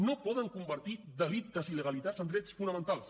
no poden convertir delictes i il·legalitats en drets fonamentals